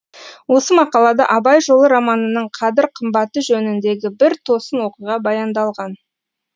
осы мақалада абай жолы романының қадір қымбаты жөніндегі бір тосын оқиға баяндалған